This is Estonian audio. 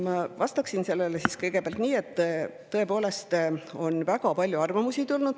Ma vastan sellele kõigepealt nii, et tõepoolest on väga palju arvamusi tulnud.